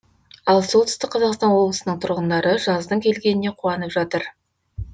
ал солтүстік қазақстан облысының тұрғындары жаздың келгеніне қуанып жатыр